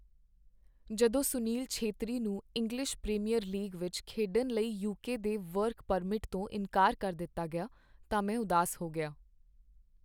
ਜਦੋਂ ਸੁਨੀਲ ਛੇਤਰੀ ਨੂੰ English Premier League ਵਿੱਚ ਖੇਡਣ ਲਈ ਯੂਕੇ ਦੇ ਵਰਕ ਪਰਮਿਟ ਤੋਂ ਇਨਕਾਰ ਕਰ ਦਿੱਤਾ ਗਿਆ, ਤਾਂ ਮੈਂ ਉਦਾਸ ਹੋ ਗਿਆ।